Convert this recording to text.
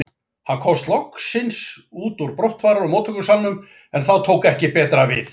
Hann komst loksins út úr brottfarar og móttökusalnum, en þá tók ekki betra við.